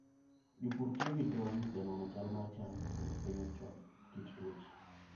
Jopur tiyo gi drones e nono chal mar cham kendo fwenyo chon kit tuoche.